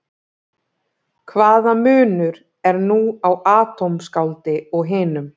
Hvaða munur er nú á atómskáldi og hinum?